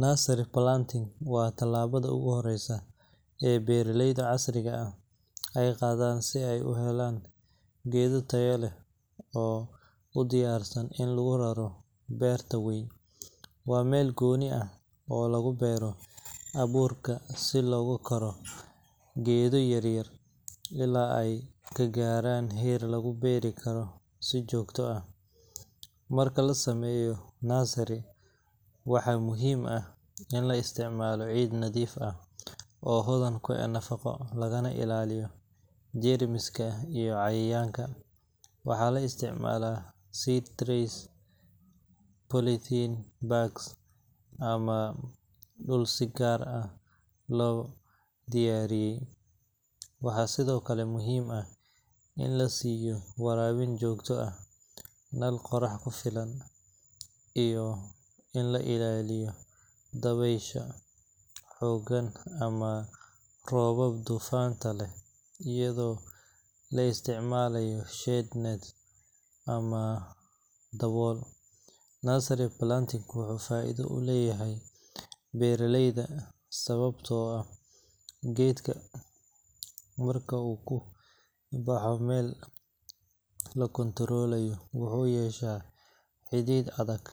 Nursery planting waa tallaabada ugu horreysa ee beeraleyda casriga ah ay qaadaan si ay u helaan geedo tayo leh oo u diyaarsan in lagu raro beerta weyn. Waa meel gooni ah oo lagu beero abuurka si loogu koro geedo yaryar ilaa ay ka gaaraan heer lagu beeri karo si joogto ah. Marka la sameynayo nursery, waxaa muhiim ah in la isticmaalo ciid nadiif ah oo hodan ku ah nafaqo, lagana ilaaliyo jeermiska iyo cayayaanka. Waxaa la isticmaalaa seed trays, polythene bags, ama dhul si gaar ah loo diyaariyay. Waxaa sidoo kale muhiim ah in la siiyo waraabin joogto ah, nal qorax ku filan, iyo in laga ilaaliyo dabaysha xooggan ama roobab duufaanta leh iyadoo la isticmaalo shade net ama dabool. Nursery planting wuxuu faa’iido u leeyahay beeraleyda sababtoo ah geedka marka uu ku baxo meel la kontoroolayo wuxuu yeeshaa xidid adag,